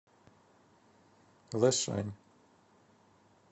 лэшань